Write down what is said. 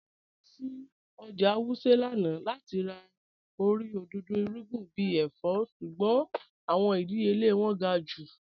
À lọ sí ọ́jà Wuse lánà láti rà orí odòdó irugbìn bí èfọ̀, ṣùgbọ̀n awọn ìdíyèlẹ̀ wọn gá̀ jù.